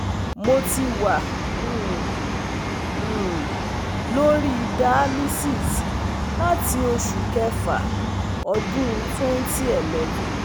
Mo ti wà um um lórí Dialysis láti Oṣù Kẹfà ọdún twenty eleven